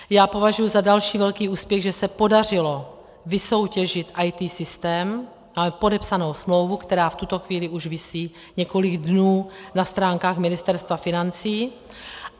Já považuji za další velký úspěch, že se podařilo vysoutěžit IT systém, máme podepsanou smlouvu, která v tuto chvíli už visí několik dnů na stránkách Ministerstva financí.